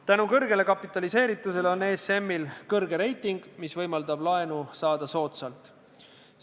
Tänu kõrgele kapitaliseeritusele on ESM-il hea reiting, mis võimaldab saada soodsalt laenu.